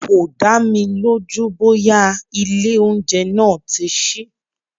Kò dámi lójú bóyá ilé oúnjẹ náà tí sí.